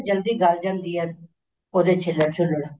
ਜਲਦੀ ਗਲ ਜਾਂਦੀ ਹੈ ਉਹਦੇ ਛਿੱਲੜ